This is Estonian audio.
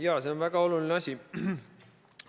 Jaa, see on väga oluline asi.